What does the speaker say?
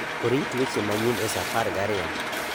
orit weche manyien e sa apar gariyo